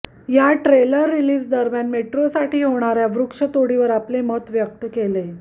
या ट्रेलर रिलिजदरम्यान मेट्रोसाठी होणाऱ्या वृक्षतोडीवर आपले मत व्यक्त केले